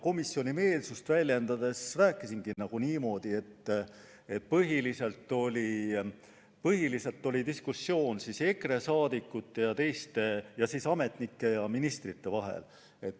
Komisjoni meelsust väljendades rääkisingi niimoodi, et põhiliselt oli diskussioon EKRE liikmete ning ametnike ja ministrite vahel.